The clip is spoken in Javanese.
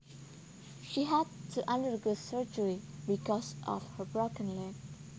She had to undergo surgery because of her broken leg